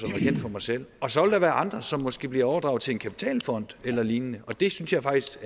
kendt for mig selv og så vil der være andre som måske bliver overdraget til en kapitalfond eller lignende og det synes jeg faktisk